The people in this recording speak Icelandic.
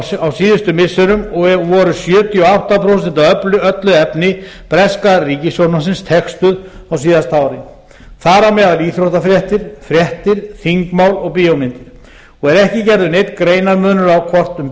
á síðustu missirum og voru sjötíu og átta prósent af öllu efni breska ríkissjónvarpsins textuð á síðasta ári þar á meðal íþróttafréttir fréttir þingmál og bíómyndir og er ekki gerður neinn greinarmunur á hvort um